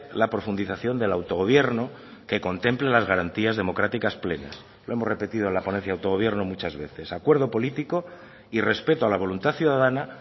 la profundización del autogobierno que contempla las garantías democráticas plenas lo hemos repetido en la ponencia de autogobierno muchas veces acuerdo político y respeto a la voluntad ciudadana